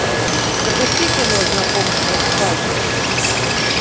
запусти кино знакомство с факерами